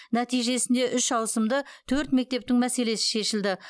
нәтижесінде үш ауысымды төрт мектептің мәселесі шешілді